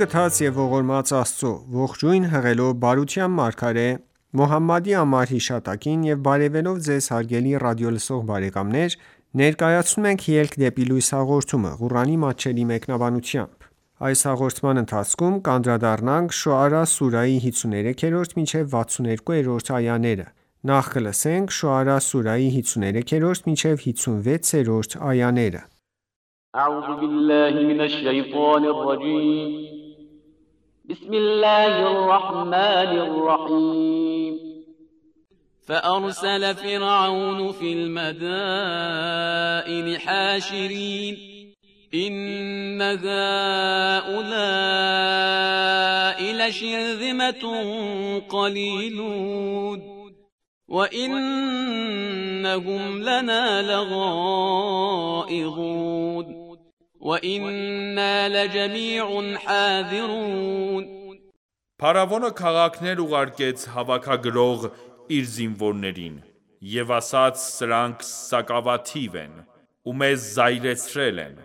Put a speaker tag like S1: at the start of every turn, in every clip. S1: գթած և ողորմած Աստծո:Ողջույն հղելով բարության մարգարե Մոհամմադի անմար հիշատակին եւ բարեւելով Ձեզ հարգելի ռադիոլսող բարեկամներ ներկայացնում ենք «Ելք դեպի լույս» հաղորդումը, Ղուրանի մատչելի մեկնաբանությամբ: Շոարա սուրահի 53-56-րդ
S2: այաներ فَأَرْسَلَ فِرْعَوْنُ فِی الْمَدَائِنِ حَاشِرِینَ إِنَّ هَؤُلَاء لَشِرْذِمَةٌ قَلِیلُونَ وَإِنَّهُمْ لَنَا لَغَائِظُونَ
S3: Փարավոնը քաղաքներ ուղարկեց հավաքագրող (իր) զինվորներին: (Եվ ասաց) սրանք սակավաթիվ են: Ու մեզ զայրացրել են: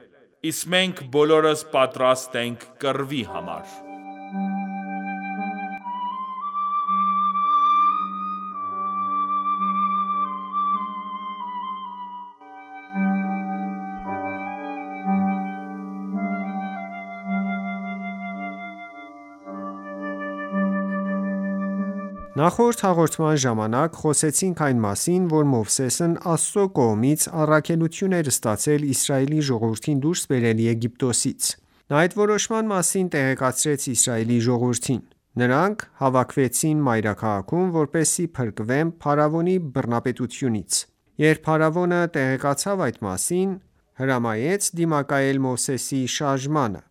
S3: Իսկ մենք բոլորս պատրաստ ենք կռվի համար:
S1: Նախորդ հաղորդման ժամանակ խոսեցինք այն մասին, որ Մովսեսն Աստծո կողմից առաքելություն էր ստացել Իսրայելի ժողովրդին դուրս բերել Եգիպտոսից: Նա այդ որոշման մասին տեղեկացրեց Իսրայելի ժողովրդին: Նրանք հավաքվեցին մայրաքաղաքում, որպեսզի փրկվեն փարավոնի բռնապետությունից: Երբ փարավոնը տեղեկացավ այդ մասին, հրամայեց դիմակայել Մովսեսի շարժմանը,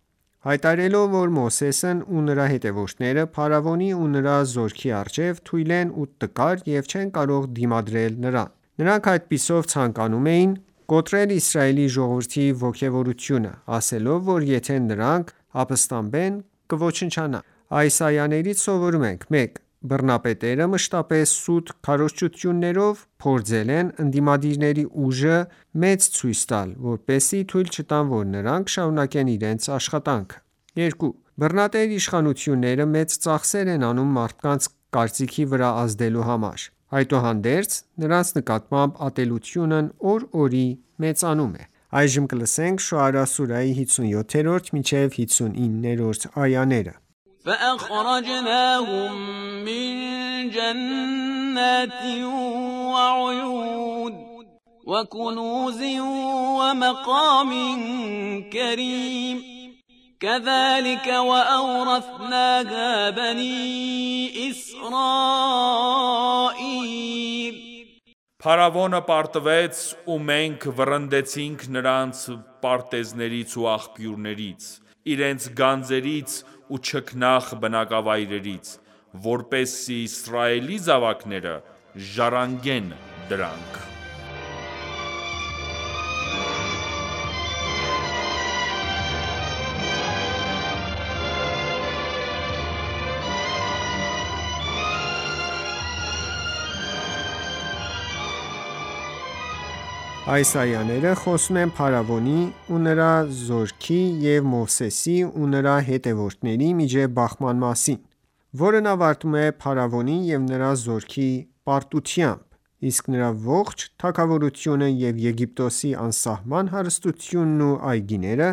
S1: հայտարարելով, որ Մովսեսն ու նրա հետևորդները փարավոնի ու նրա զորքի առջև թույլ են ու տկար և չեն կարող դիմադրել նրան: Նրանք այդպիսով ցանկանում էին կոտրել Իսրայելի ժողովրդի ոգևորությունը, ասելով, որ եթե նրանք ապստամբեն, կոչնչանան: Այս այաներից սովորում ենք. 1. Բռնապետերը մշտապես սուտ քարոզչություններով փորձել են ընդդիմադիրների ուժը մեծ ցույց տալ, որպեսզի թույլ չտան, որ նրանք շարունակեն իրենց աշխատանքը։ 2. Բռնատեր իշխանությունները մեծ ծախսեր են անում մարդկանց կարծիքի վրա ազդելու համար: Այդուհանդերձ, նրանց նկատմամբ ատելությունն օր օրի մեծանում է։ Շոարա սուրահի 57-59-րդ այաներ
S2: فَأَخْرَجْنَاهُم مِّن جَنَّاتٍ وَعُیُونٍ کَذَلِکَ وَأَوْرَثْنَاهَا بَنِی إِسْرَائِیلَ
S3: (Փարավոնը պարտվեց) ու մենք վռնդեցինք նրանց պարտեզներից ու աղբյուրներից: (Իրենց գանձերից) ու չքնաղ բնակավայրերից: Որպեսզի Իսրայելի զավակները ժառանգեն դրանք:
S1: Այս այաները խոսում են փարավոնի ու նրա զորքի և Մովսեսի ու նրա հետևորդների միջև բախման մասին, որն ավարտվում է փարավոնի և նրա զորքի պարտությամբ, իսկ նրա ողջ թագավորությունը և Եգիպտոսի անսահման հարստությունն ու այգիները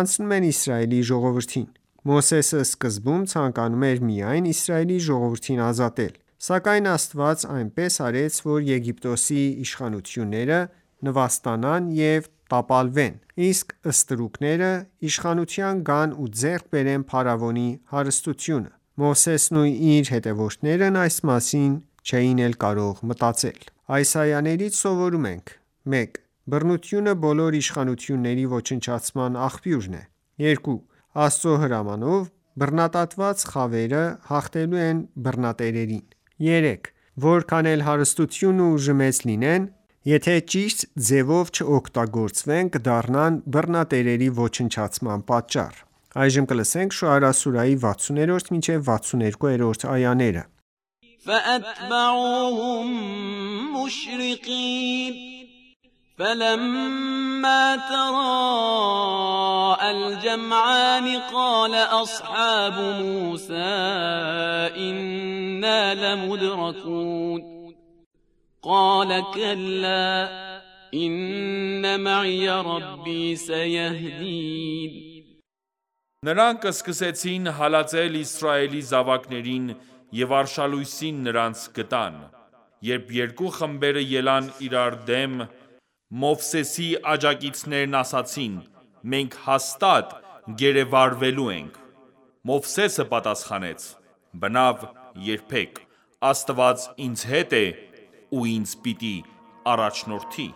S1: անցնում են Իսրայելի ժողովրդին: Մովսեսը սկզբում ցանկանում էր միայն Իսրայելի ժողովրդին ազատել: Սակայն Աստված այնպես արեց, որ Եգիպտոսի իշխանավորները նվաստանան ու տապալվեն, իսկ ստրուկները իշխանության գան ու ձեռք բերեն փարավոնի հարստությունը: Մովսեսն ու իր հետևորդներն այս մասին չէին էլ կարող մտածել: Այս այաներից սովորում ենք. 1. Բռնությունը բոլոր իշխանությունների ոչնչացման աղբյուրն է։ 2. Աստծո հրամանով, բռնադատված խավերը հաղթելու են բռնատերերին։ 3. Որքան էլ հարստությունն ու ուժը մեծ լինեն, եթե ճիշտ ձևով չօգտագործվեն կդառնան բռնատերերի ոչնչացման պատճառ։ Շոարա սուրահի 60-62-րդ այաներ
S2: فَلَمَّا تَرَاءى الْجَمْعَانِ قَالَ أَصْحَابُ مُوسَى إِنَّا لَمُدْرَکُونَ قَالَ کَلَّا إِنَّ مَعِیَ رَبِّی
S3: سَیَهْدِینِ Նրանք սկսեցին հալածել Իսրայելի զավակներին, և արշալույսին նրանց գտան: Երբ երկու խմբերը ելան իրար դեմ, Մովսեսի աջակիցներն ասացին.«Մենք հաստատ գերեվարվելու ենք»: (Մովսեսը) պատասխանեց. «Բնավ, երբեք: Աստված ինձ հետ է ու ինձ պիտի առաջնորդի»: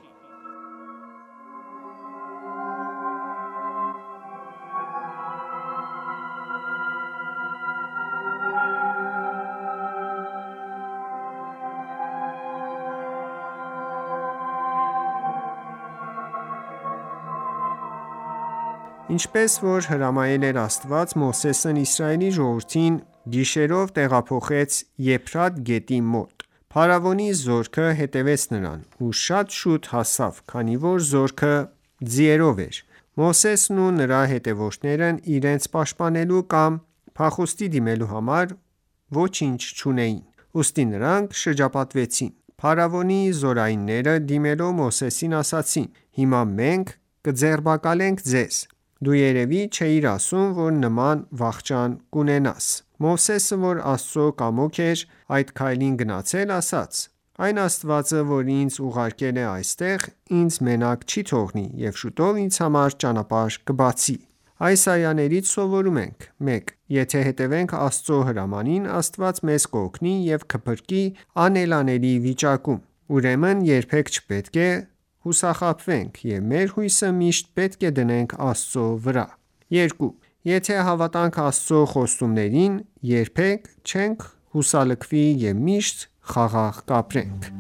S1: Ինչպես որ հրամայել էր Աստված, Մովսեսն Իսրայելի ժողովրդին գիշերով տեղափոխեց Եփրատ գետի մոտ: Փարավոնի զորքը հետևեց նրանց և շատ շուտ հասավ, քանի որ զորքը ձիերով էր: Մովսեսն ու նրա հետևորդներն իրենց պաշտպանվելու կամ փախուստի դիմելու համար ոչինչ չունեին: Ուստի նրանք շրջապատվեցին: Փարավոնի զորայինները, դիմելով Մովսեսին, ասացին. «Հիմա մենք կձերբակալենք քեզ: Դու երևի չէիր սպասում, որ նման վախճան կունենաս»: Մովսեսը, որ Աստծո կամոք էր այդ քայլին գնացել, ասաց. «Այն Աստվածը, որ ինձ ուղարկել է այստեղ, ինձ մենակ չի թողնի և շուտով ինձ համար ճանապարհ կբացի» Այս այաներից սովորում ենք. 1. Եթե հետևենք Աստծո հրամանին, Աստված մեզ կօգնի ու կփրկի անելանելի վիճակում: Ուրեմն երբեք չպետք է հուսահատվենք և մեր հույսը միշտ պետք է դնենք Աստծո վրա: 2. Եթե հավատանք Աստծո խոստումներին, երբեք չենք հուսալքվի և միշտ խաղաղ
S3: կապրենք: